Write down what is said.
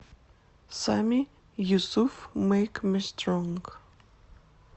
сами юсуф мэйк ми стронг